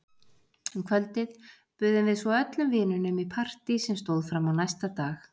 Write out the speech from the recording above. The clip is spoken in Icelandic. Um kvöldið buðum við svo öllum vinunum í partí sem stóð fram á næsta dag.